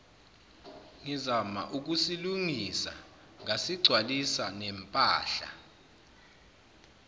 ngizama ukusilungisa ngasigcwalisanempahla